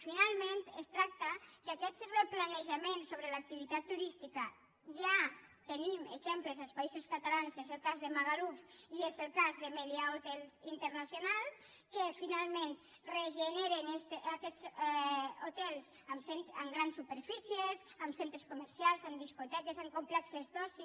finalment es tracta que d’aquest replanejament sobre l’activitat turística ja tenim exemples als països catalans és el cas de magaluf i és el cas de meliá hotels international que finalment regeneren aquests hotels amb grans superfícies amb centres comercials amb discoteques amb complexos d’oci